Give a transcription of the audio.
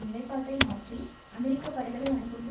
நிலைப்பாட்டை மாற்றி அமெரிக்க படைகளை அனுப்புவது